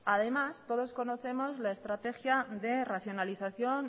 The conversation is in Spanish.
además todos conocemos la estrategia de racionalización